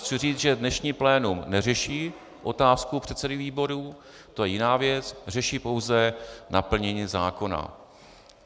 Chci říci, že dnešní plénum neřeší otázku předsedů výborů, to je jiná věc, řeší pouze naplnění zákona.